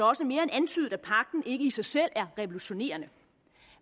også mere end antydet at pagten ikke i sig selv er revolutionerende